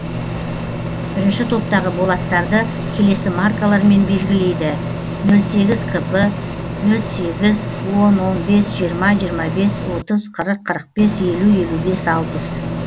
бірінші топтағы болаттарды келесі маркалармен белгілейді нөл сегіз кп нөл сегіз он он бес жиырма жиырма бес отыз қырық қыры бес елу елу бес алпыс